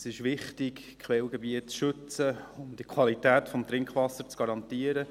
Es ist wichtig, Quellgebiete zu schützen, um die Qualität des Trinkwassers zu garantieren.